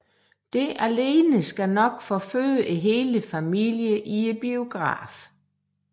Det alene skal nok forføre hele familien i biografen